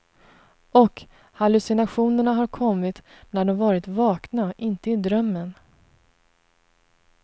Och hallucinationerna har kommit när de varit vakna, inte i drömmen.